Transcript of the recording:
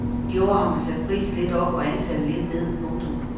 I år har man sat prisen lidt op og antallet lidt ned. punktum